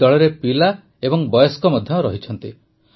ଏହି ଦଳରେ ପିଲା ଓ ବୟସ୍କ ମଧ୍ୟ ଅଛନ୍ତି